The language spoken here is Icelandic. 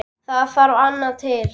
Það þarf annað til.